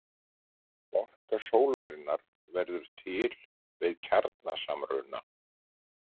Orka sólarinnar verður til við kjarnasamruna.